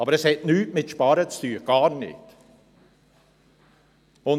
Das hat nichts mit Sparen zu tun!